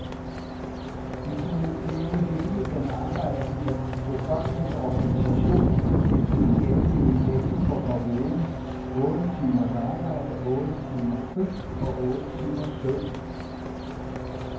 De kunne blive hele den arbejdende befolknings organisation, hvis de igen ville kæmpe for parolen otte timers arbejde, otte timer fri og otte timers søvn.